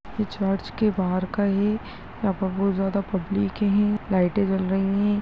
ये चर्च के बाहर का है यहाँ पर बहुत ज्यादा पब्लिक है लाइटे जल रही है।